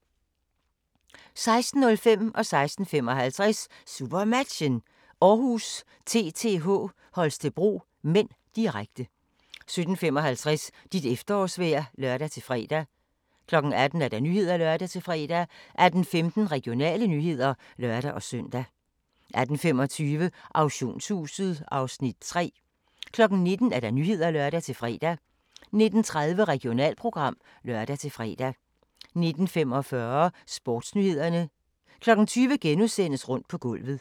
16:05: SuperMatchen: Århus-TTH Holstebro (m), direkte 16:55: SuperMatchen: Århus-TTH Holstebro (m), direkte 17:55: Dit efterårsvejr (lør-fre) 18:00: Nyhederne (lør-fre) 18:15: Regionale nyheder (lør-søn) 18:25: Auktionshuset (Afs. 3) 19:00: Nyhederne (lør-fre) 19:30: Regionalprogram (lør-fre) 19:45: Sportsnyhederne 20:00: Rundt på gulvet *